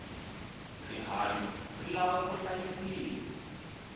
rihanyu ri lava ku hlayisiwa